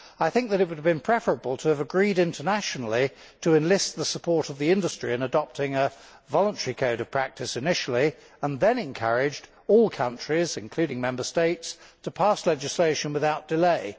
I think it would have been preferable, initially, to agree internationally to enlist the support of the industry in adopting a voluntary code of practice, and then to encourage all countries, including Member States, to pass legislation without delay.